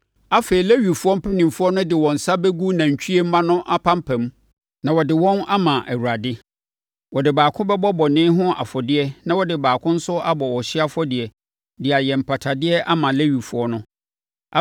“Afei, Lewifoɔ mpanimfoɔ no de wɔn nsa bɛgu nantwie mma no apampam na wɔde wɔn ama Awurade. Wɔde baako bɛbɔ bɔne ho afɔdeɛ na wɔde baako nso abɔ ɔhyeɛ afɔdeɛ de ayɛ mpatadeɛ ama Lewifoɔ no.